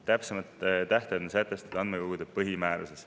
Täpsema tähtaja sätestab andmekogude põhimäärus.